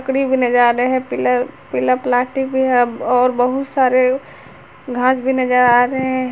नज़ारे है पीला पीला प्लास्टिक भी है और बहुत सारे घास भी नजर आ रहे हैं।